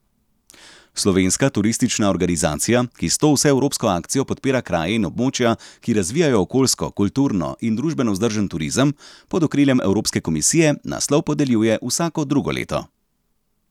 Slovenska turistična organizacija, ki s to vseevropsko akcijo podpira kraje in območja, ki razvijajo okoljsko, kulturno in družbeno vzdržen turizem, pod okriljem evropske komisije naslov podeljuje vsako drugo leto.